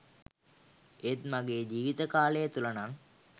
ඒත් ම‍ගේ ජීවිත කාලය තුල නං